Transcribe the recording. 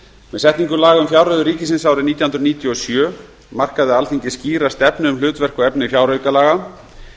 með setningu laga um fjárreiður ríkisins árið nítján hundruð níutíu og sjö markaði alþingi skýra stefnu um hlutverk og efni fjáraukalaga